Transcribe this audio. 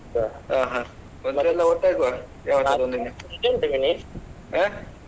ಒಂದ್ಸಲ ಒಟ್ಟ್ ಆಗುವ ಹಾ?